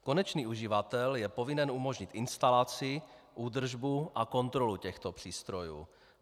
Konečný uživatel je povinen umožnit instalaci, údržbu a kontrolu těchto přístrojů.